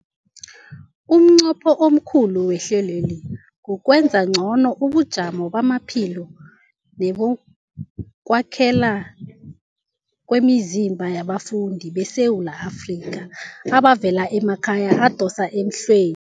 Umnqopho omkhulu wehlelweli kukwenza ngcono ubujamo bamaphilo nebokwakhela kwemizimba yabafundi beSewula Afrika abavela emakhaya adosa emhlwe